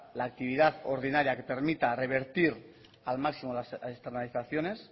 la actividad ordinaria que permita revertir al máximo las externalizaciones